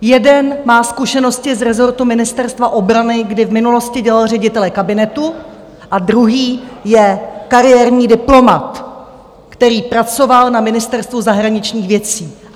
Jeden má zkušenosti z rezortu Ministerstva obrany, kdy v minulosti dělal ředitele kabinetu, a druhý je kariérní diplomat, který pracoval na Ministerstvu zahraničních věcí.